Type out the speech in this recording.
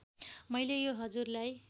मैले यो हजुरलाई